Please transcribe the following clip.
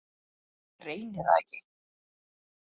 Reyni það ekki.